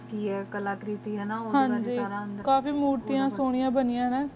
ਕੀ ਆਯ ਕਲਾ ਕਰਿਤਿ ਕਾਫੀ ਮੁਰ੍ਤੇਯਾਂ ਸੋਨਿਯਾਂ